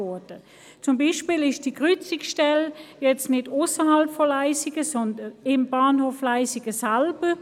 Zum Beispiel befindet sich die Kreuzungsstelle jetzt nicht ausserhalb von Leissigen, sondern am Bahnhof Leissigen selber.